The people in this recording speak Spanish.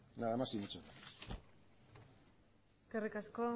nada más y muchas gracias eskerrik asko